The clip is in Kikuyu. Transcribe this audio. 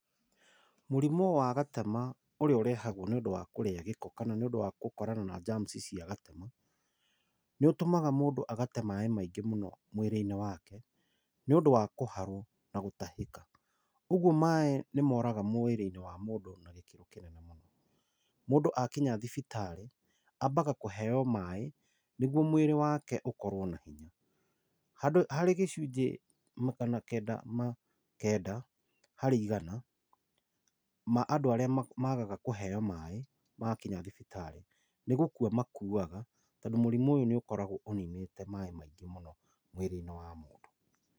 Mũrimũ wa gatema ũrĩa ũrehagwo nĩ ũndũ wa kũrĩa gĩko, kana nĩ ũndũ wa gũtũngana na germs cia gatema, nĩ ũtũmaga mũndũ agate maaĩ maingĩ mũno mwĩrĩ-inĩ wake, nĩ ũndũ wa kũharwo na gũtahĩka. Ũguo maaĩ nĩ moraga mwĩrĩ-inĩ wa mũndũ na gĩkĩro kĩnene mũno. Mũndũ akinya thibitarĩ ambaga kũheyo maaĩ nĩguo mwĩrĩ wake ũkorwo na hinya. Harĩ gĩcunjĩ magana kenda ma kenda harĩ igana ma andũ arĩa maagaga kũheyo maaĩ makinya thibitarĩ, nĩ gũkua makuaga tondũ mũrimũ ũyũ nĩ ũkorago ũninĩte maaĩ maingĩ mũno mwĩrĩ-inĩ wa mũndũ.